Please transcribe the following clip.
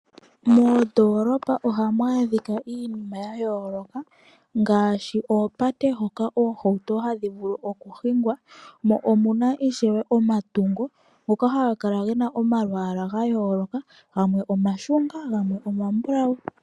Moondolopa ohamu adhika iinima ya yooloka ngaaashi oopate hoka oohauto hadhi vulu okuhingwa mo omuna ishewe omatungo ngoka haga kala gena omalwaala ga yooloka gamwe omashunga gamwe omambulawu.